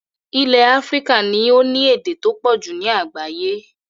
Ilẹ̀ Africa ni o ni èdè to pọ̀jù ni àgbáyẹ́